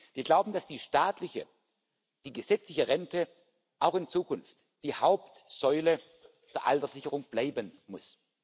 Wir glauben, dass die staatliche, die gesetzliche Rente auch in Zukunft die Hauptsäule der Alterssicherung bleiben muss.